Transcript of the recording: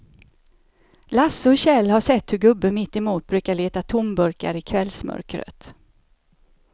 Lasse och Kjell har sett hur gubben mittemot brukar leta tomburkar i kvällsmörkret.